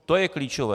To je klíčové.